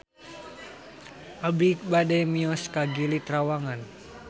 Abi bade mios ka Gili Trawangan